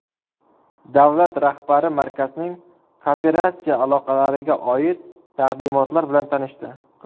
Davlat rahbari markazning kooperatsiya aloqalariga oid taqdimotlar bilan tanishdi.